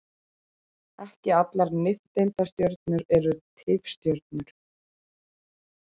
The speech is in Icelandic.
Ekki allar nifteindastjörnur eru tifstjörnur.